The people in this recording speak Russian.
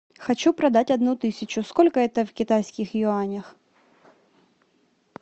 хочу продать одну тысячу сколько это в китайских юанях